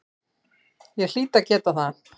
Ég hlýt að geta það.